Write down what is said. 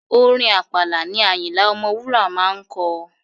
Orin Àpàlà ni Àyìnlá Ọmọwúrà máa ń kọ.